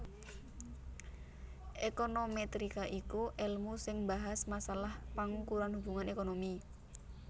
Ékonomètrika iku èlmu sing mbahas masalah pangukuran hubungan ékonomi